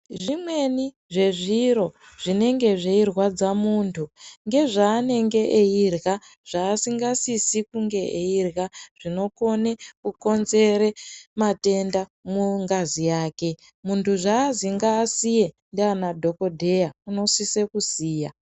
Zvimweni zvezviro zvinenege zveirwadza munthu ngezvaanenge eirya zvaasingasisi kunge eirya zvinokone kukonzere matenda mungazi yake munthu zvaazi ngaasiye nanadhokodheya unosise kusiya.